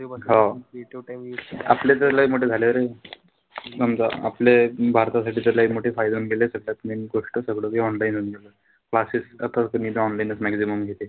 हो आपले तर लय मोठे झाले रे. समजा आपले भारतासाठी तर लै मोठे फायदे होऊन गेले. त त्याच्यात main गोष्ट सगळं online होऊन गेलं. Classes सध्या त online च maximum घेते.